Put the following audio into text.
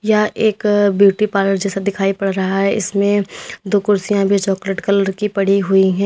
या एक beauty parlour जैसा दिखाई पड़ रहा है इसमें दो कुर्सियां भी चॉकलेट कलर की पड़ी हुई है।